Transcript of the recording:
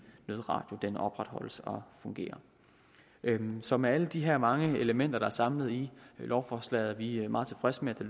nødradio opretholdes og fungerer så med alle de her mange elementer der er samlet i lovforslaget er vi meget tilfredse med